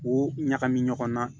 K'o ɲagami ɲɔgɔn na